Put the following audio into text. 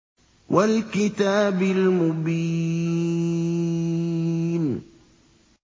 وَالْكِتَابِ الْمُبِينِ